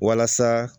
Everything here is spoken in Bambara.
Walasa